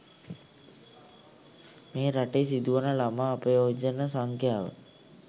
මේ රටේ සිදුවන ළමා අපයෝජන සංඛ්‍යාව